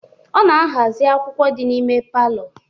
Ọ na-aghazi akwukwọ dị n'ime palọ